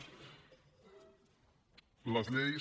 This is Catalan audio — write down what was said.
les lleis